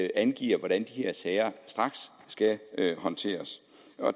angiver hvordan de her sager skal håndteres